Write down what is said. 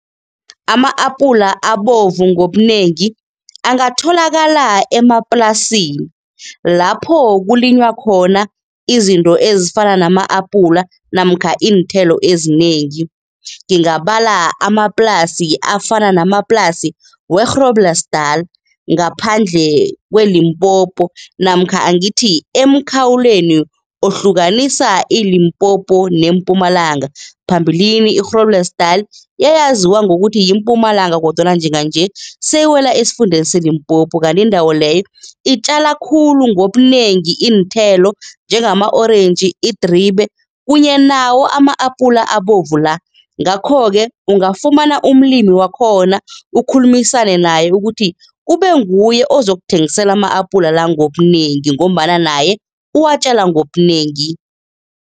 Ama-apula abovu ngobunengi angatholakala emaplasini lapho kulinywa khona izinto ezifana nama-apula namkha iinthelo ezinengi. Ngingabala amaplasi afana namaplasi we-Groblersdal ngaphandle kweLimpopo namkha angithi emkhawulweni ohlukanisa iLimpopo neMpumalanga. Phambilini i-Groblersdal yayaziwa ngokuthi yiMpumalanga kodwana njenganje seyiwela esifundeni seLimpopo kanti indawo leyo, itjala khulu ngobunengi iinthelo njengama-orentji, idribe kunye nawo ama-apula abovu la. Ngakho-ke ungafumana umlimi wakhona, ukhulumisane naye ukuthi kube nguye ozokuthengisela ama-apula la ngobunengi ngombana naye uwatjala ngobunengi.